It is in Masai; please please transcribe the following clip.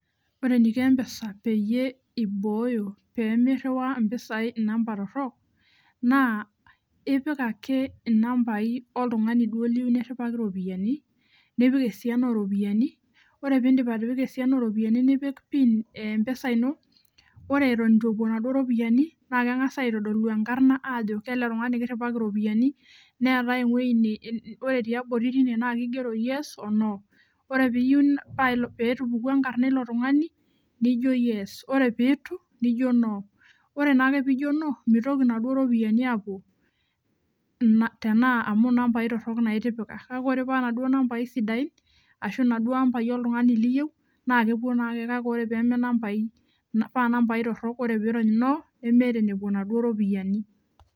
Ore eniko mpesa peyie ibooyo pemiriwaa ropiyani namba torok naa ipik ake nambai oltungani niyieu niriwaki ropiyani nipik esiana oropiyiani ore pipik esiana oropiyiani nipik pin empesa ino ore atan ituepuo ropiyani na kengasa aitodolu enkarna ajo keletungani kiriwaki ropiyani neetae ewoi ore tiabori ore petupokuo enkarna ilo tungani nijo yes ore pitu nijo no ore naake pijo no mitoki na ropiyani apuo amu nambai torok itipika ore pa naduo amba sidain ashu naduo ambai oltungani liyieu ore panambau torok ore pirony no meeta enepuo naduo ropiyiani